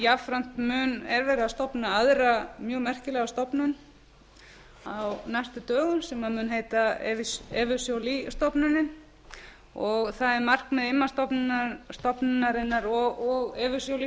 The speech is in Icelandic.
jafnframt er verið að stofna aðra mjög merkilega stofnun á næstu dögum sem mun heita evu joly stofnunin og það er markmið immi stofnunarinnar og evu joly